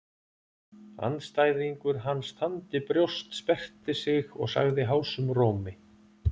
Andstæðingur hans þandi brjóst, sperrti sig og sagði hásum rómi